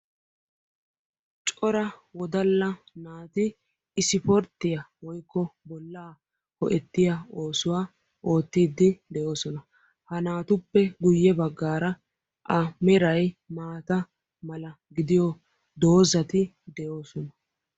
Cora woddalla naati ispporttiya woykko bolla ho'ettiya oosuwa oottiiddi de'oosona. Ha naatuppe guyye baggaara A meray maata mala gidiyoo doazzati de'oosona